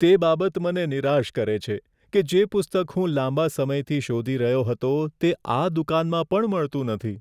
તે બાબત મને નિરાશ કરે છે કે જે પુસ્તક હું લાંબા સમયથી શોધી રહ્યો હતો, તે આ દુકાનમાં પણ મળતું નથી.